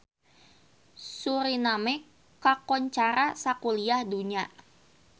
Suriname kakoncara sakuliah dunya